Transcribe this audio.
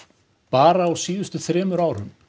bara á seinustu þremur árum